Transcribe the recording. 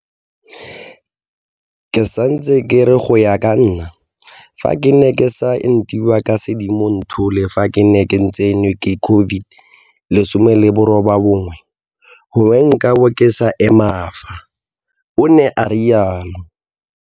Ke sa ntse ke re go ya ka nna, fa ke ne ke sa entiwa ka Sedimonthole fa ke ne ke tsenwa ke COVID-19, gongwe nkabo ke sa ema fa, o ne a rialo.